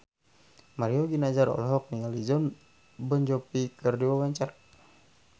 Mario Ginanjar olohok ningali Jon Bon Jovi keur diwawancara